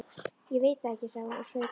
Ég veit það ekki, sagði hún og saup á.